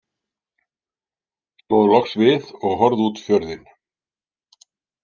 Stóð loks við og horfði út fjörðinn.